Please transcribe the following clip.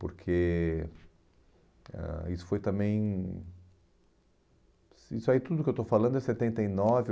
Porque ãh isso foi também... Isso aí tudo que eu estou falando é setenta e nove